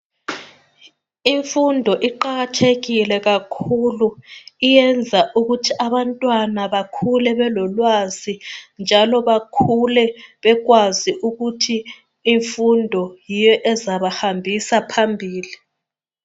Imfundo iqakathekile kakhulu, iyenza ukuthi abantwana bakhule belolwazi njalo bakhule bekwazi ukuthi imfundo yiyo ezabahambisa phambili.